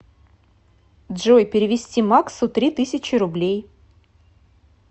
джой перевести максу три тысячи рублей